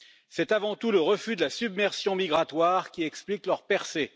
C'est avant tout le refus de la submersion migratoire qui explique leur percée.